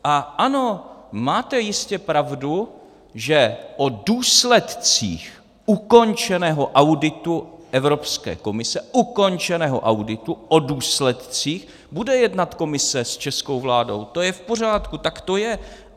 A ano, máte jistě pravdu, že o důsledcích ukončeného auditu Evropské komise, ukončeného auditu, o důsledcích, bude jednat Komise s českou vládou, to je v pořádku, tak to je.